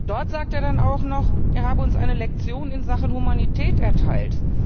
Dort sagt er dann auch noch, er habe uns eine Lektion in Sachen Humanität erteilt.